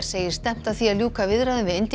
segir stefnt að því að ljúka viðræðum við